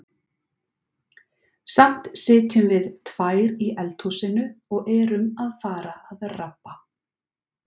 Samt sitjum við tvær í eldhúsinu og erum að fara að rabba.